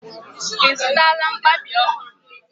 I zụtala mkpabi ọhụrụ?